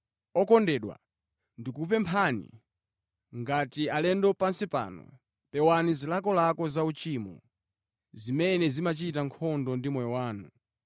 Okondedwa, ndikukupemphani, ngati alendo pansi pano, pewani zilakolako za uchimo, zimene zimachita nkhondo ndi moyo wanu.